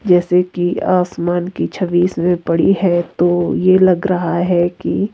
जैसे कि आसमान की छवि इसमें पड़ी है तो ये लग रहा है कि--